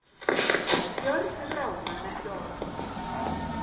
Gjörðir ráða en ekki orð